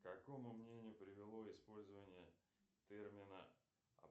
к какому мнению привело использование термина